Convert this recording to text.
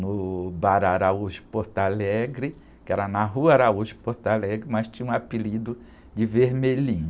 no Bar Araújo Porto Alegre, que era na rua Araújo Porto Alegre, mas tinha um apelido de vermelhinho.